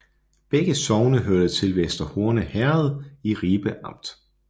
Begge sogne hørte til Vester Horne Herred i Ribe Amt